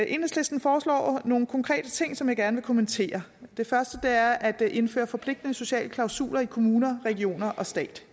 enhedslisten foreslår nogle konkrete ting som jeg gerne vil kommentere det første er at indføre forpligtende sociale klausuler i kommuner regioner og stat